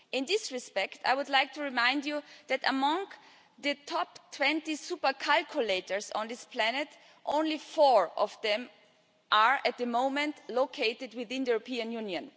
In this respect, I would like to remind you that of the top 20 super computers on this planet, only four of them are at the moment located within the European Union.